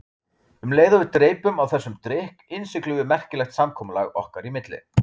Um leið og við dreypum á þessum drykk innsiglum við merkilegt samkomulag okkar í milli.